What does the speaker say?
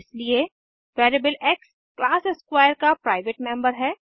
इसलिए variable X class square का private member है